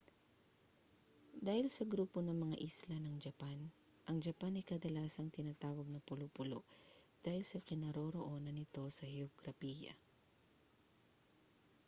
dahil sa grupo ng mga isla ng japan ang japan ay kadalasang tinatawag na pulo-pulo dahil sa kinaroroonan nito sa heograpiya